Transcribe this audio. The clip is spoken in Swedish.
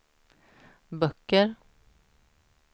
böcker